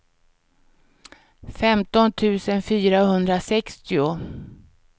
femton tusen fyrahundrasextio